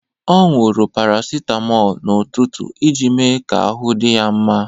Ọ owuru paracetamol n'ụtụtụ iji mee ka ahụ dị ya mma